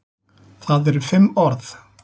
Það eru fimm orð.